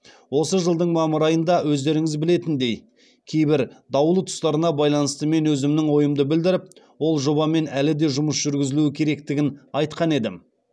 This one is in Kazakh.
осы жылдың мамыр айында өздеріңіз білетіндей кейбір даулы тұстарына байланысты мен өзімнің ойымды білдіріп ол жобамен әлі де жұмыс жүргізілуі керектігін айтқан едім